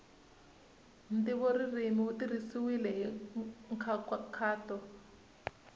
ntivoririmi wu tirhisiwile hi nkhaqato